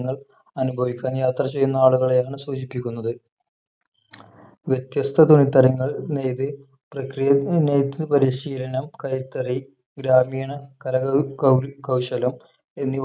അനുഭവിക്കാൻ യാത്ര ചെയ്യുന്ന ആളുകളെയാണ് സൂചിപ്പിക്കുന്നത് വ്യത്യസ്ത തുണിത്തരങ്ങൾ നെയ്ത് പ്രക്രിയ നെയ്ത്ത് പരിശീലനം കൈത്തറി ഗ്രാമീണ കലകൾ കൗ കൌശലം എന്നിവ